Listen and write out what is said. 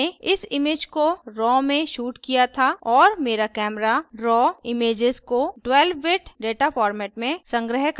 मैंने इस image को raw में shot किया था और camera camera raw raw images को 12 bit data format में संग्रह करता है